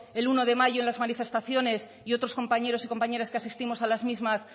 el uno de mayo en las manifestaciones y otros compañeros y compañeras que asistimos a las mismas